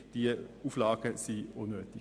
Die Auflagen sind unnötig.